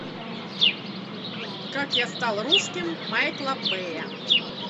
как я стал русским майкла бэя